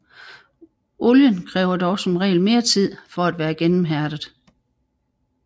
Olien kræver dog som regel mere tid for at være gennemhærdet